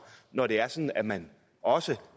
når det er sådan at man også